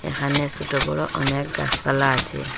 এখানে সোট বড় অনেক গাসপালা আছে।